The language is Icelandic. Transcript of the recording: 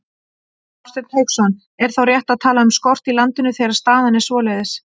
Hafsteinn Hauksson: Er þá rétt að tala um skort í landinu, þegar staðan er svoleiðis?